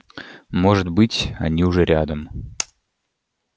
может быть они уже рядом